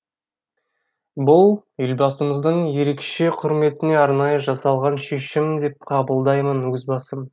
бұл елбасымыздың ерекше құрметіне арнайы жасалған шешім деп қабылдаймын өз басым